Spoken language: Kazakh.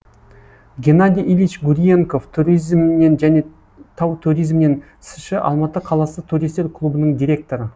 геннадий ильич гурьенков туризмнен және тау туризмнен сш і алматы қаласы туристер клубының директоры